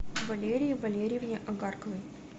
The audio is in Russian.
валерии валерьевне агарковой